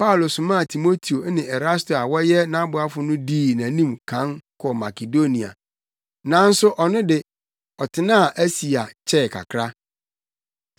Paulo somaa Timoteo ne Erasto a wɔyɛ nʼaboafo no dii nʼanim kan kɔɔ Makedonia, nanso ɔno de, ɔtenaa Asia kyɛɛ kakra.